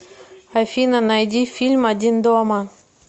афина найди фильм один дома